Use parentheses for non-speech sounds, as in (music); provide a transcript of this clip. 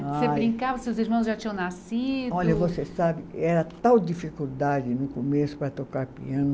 (unintelligible) Você brincava, seus irmãos já tinham nascido. Olha, você sabe, era tal dificuldade no começo para tocar piano.